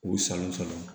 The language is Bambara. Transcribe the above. K'u salon sɔrɔ